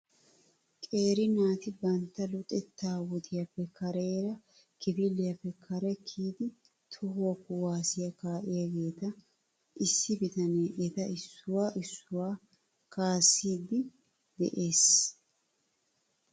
Qeeri naati bantta luxetta wodiyaappe kareera kifiliyaappe kare kiyidi tohuwaa kuwaasiyaa kaa'iyaageeta issi bitanne eta issuwaa issuwaa kaasiidi de'es .